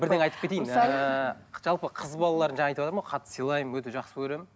бірдеңе айтып кетейін ыыы жалпы қыз балаларын жаңа айтыватырмын ғой қатты сылаймын өте жақсы көремін